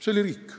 See oli riik.